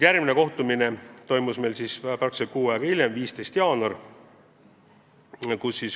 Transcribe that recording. Järgmine kohtumine toimus meil umbes kuu aega hiljem, 15. jaanuaril.